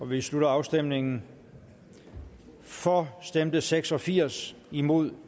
vi slutter afstemningen for stemte seks og firs imod